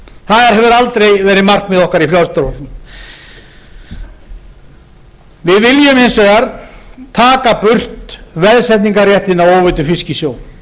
það hefur aldrei verið markmið okkar í frjálslynda flokknum við viljum hins vegar taka burt veðsetningarréttinn á óveiddum fiski í sjó